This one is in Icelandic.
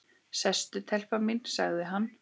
Sestu telpa mín, sagði hann.